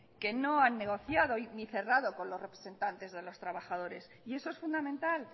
que no han negociado ni cerrado con los representantes de los trabajadores y eso es fundamental